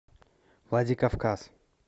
владикавказ